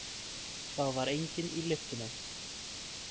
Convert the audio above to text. Það var enginn í lyftunni.